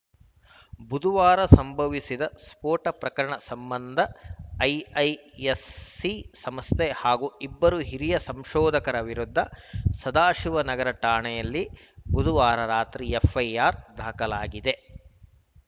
ಬುಧವಾರ ಸಂಭವಿಸಿದ್ದ ಸ್ಫೋಟ ಪ್ರಕರಣ ಸಂಬಂಧ ಐಐಎಸ್‌ಸಿ ಸಂಸ್ಥೆ ಹಾಗೂ ಇಬ್ಬರು ಹಿರಿಯ ಸಂಶೋಧಕರ ವಿರುದ್ಧ ಸದಾಶಿವನಗರ ಠಾಣೆಯಲ್ಲಿ ಬುಧವಾರ ರಾತ್ರಿ ಎಫ್‌ಐಆರ್‌ ದಾಖಲಾಗಿದೆ